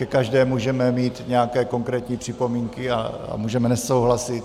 Ke každé můžeme mít nějaké konkrétní připomínky a můžeme nesouhlasit.